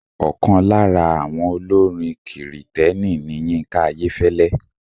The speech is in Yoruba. Ọkàn lára àwọn olórin kìrìtẹ̀ni ni Yínká Ayẹ́fẹ́lẹ́.